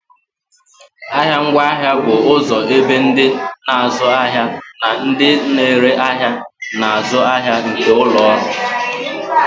Ahịa ngwaahịa bụ ụzọ ebe ndị na-azụ ahịa na ndị na-ere ahịa na-azụ ahịa nke ụlọ ọrụ